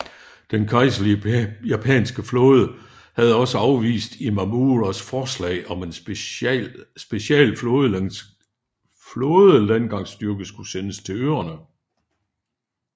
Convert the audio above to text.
Den kejserlige japanske flåde havde også afvist Imamuras forslag om at en special flådelandgangsstyrke skulle sendes til øerne